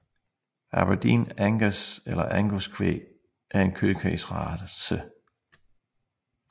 Aberdeen Angus eller Angus kvæg er en kødkvægsrace